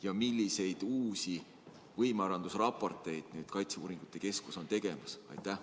Ja milliseid uusi võimearendusraporteid kaitseuuringute keskus praegu teeb?